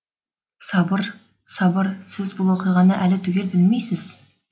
сабыр сабыр сіз бұл оқиғаны әлі түгел білмейсіз